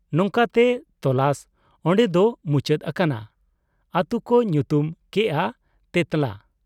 ᱱᱚᱝᱠᱟᱛᱮ ᱛᱚᱞᱟᱥ ᱚᱱᱰᱮ ᱫᱚ ᱢᱩᱪᱟᱹᱫ ᱟᱠᱟᱱᱟ ᱾ ᱟᱛᱩ ᱠᱚ ᱧᱩᱛᱩᱢ ᱠᱮᱜ ᱟ ᱛᱮᱸᱛᱞᱟ ᱾